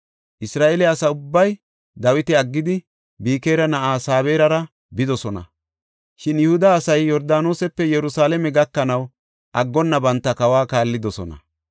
Isra7eele asa ubbay Dawita aggidi, Bikira na7aa Sabe7erara bidosona. Shin Yihuda asay Yordaanosepe Yerusalaame gakanaw aggonna banta kawa kaallidosona.